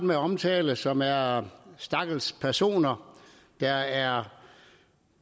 med at omtale og som er stakkels personer der er